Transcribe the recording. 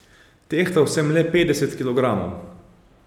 Tehtal sem le petdeset kilogramov.